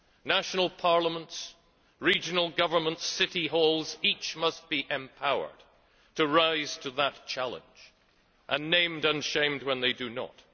National parliaments, regional governments, city halls each must be empowered to rise to that challenge, and named and shamed when they do not.